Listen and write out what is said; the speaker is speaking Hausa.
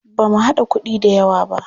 Ba mu haɗa kuɗi da yawq ba.